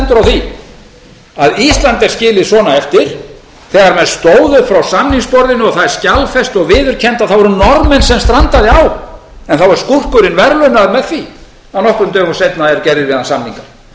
því að ísland er skilið svona eftir þegar menn stóðu frá samningsborðinu og það er skjalfest og viðurkennt að það voru norðmenn sem strandaði á en þá er skúrkurinn verðlaunaður með því að nokkrum dögum seinna eru gerðir við hann samningar